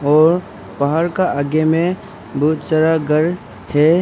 और पहाड़ का आगे में बहुत सारा घर है।